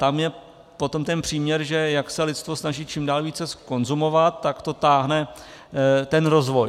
Tam je potom ten příměr, že jak se lidstvo snaží čím dál více konzumovat, tak to táhne ten rozvoj.